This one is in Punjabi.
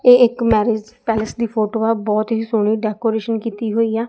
ਇਹ ਇਕ ਮੈਰਿਜ ਪੈਲਸ ਦੀ ਫੋਟੋ ਆ। ਬਹੁਤ ਹੀ ਸੋਹਣੀ ਡੈਕੋਰੇਸ਼ਨ ਕੀਤੀ ਹੋਈ ਆ।